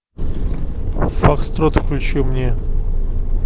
фокстрот включи мне